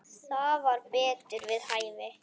Það var betur við hæfi.